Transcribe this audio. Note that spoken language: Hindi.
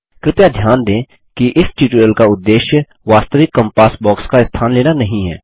कृपया ध्यान दें कि इस ट्यूटोरियल का उद्देश्य वास्तविक कॅम्पास बॉक्स का स्थान लेना नहीं है